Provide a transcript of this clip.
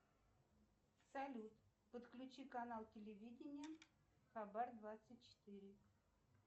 салют подключи канал телевидения хабар двадцать четыре